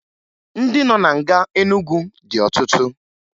Ndị nọ na nga Enugwu dị ọtụtụ